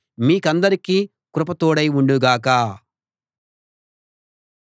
మీకందరికీ కృప తోడై ఉండు గాక